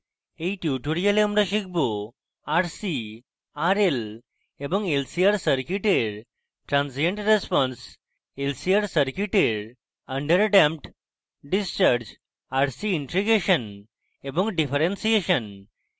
in tutorial আমরা শিখব